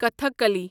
Kathakali